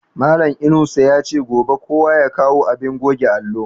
Malan Inusa yace gobe kowa ya kawo abin goge allo